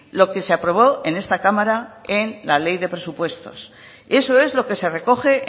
lo que se aprobó en esta cámara en la ley de presupuestos eso es lo que se recoge